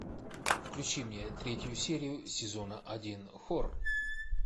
включи мне третью серию сезона один хор